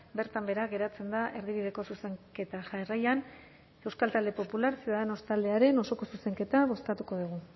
bertan behera geratzen da erdibideko zuzenketa jarraian euskal talde popular ciudadanos taldearen osoko zuzenketa bozkatuko dugu